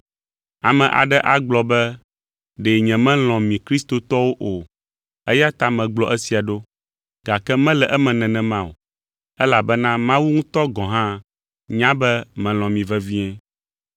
Ame aɖe agblɔ be ɖe nyemelɔ̃ mi Kristotɔwo o, eya ta megblɔ esia ɖo, gake mele eme nenema o, elabena Mawu ŋutɔ gɔ̃ hã nya be melɔ̃ mi vevie.